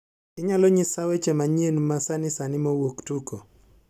Inyalo nyisa weche manyien masani sani mowuok tuko